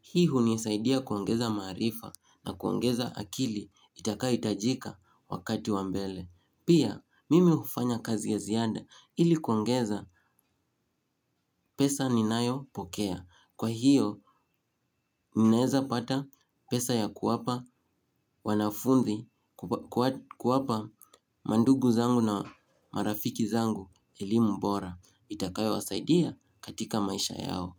Hii hunisaidia kuongeza maarifa na kuongeza akili itakayohitajika wakati wa mbele. Pia, mimi hufanya kazi ya ziada ili kuangeza pesa ninayopokea. Kwa hiyo, ninaweza pata pesa ya kuwapa wanafunzi kuwapa mandugu zangu na marafiki zangu elimu mbora. Itakayo wasaidia katika maisha yao.